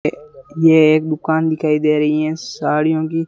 ये एक दुकान दिखाई दे रही हैं सड़ियों की--